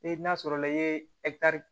E n'a sɔrɔla i ye